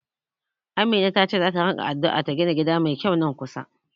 Amina tace zata ringa addu'a ta gina gida mai kyau a nan kusa.